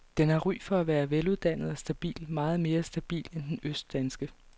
Den har ry for at være veluddannet og stabil, meget mere stabil end den østdanske.